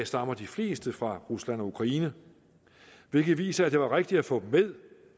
stammer de fleste fra rusland og ukraine hvilket viser at det var rigtigt at få dem med